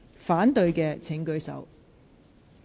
反對的請舉手。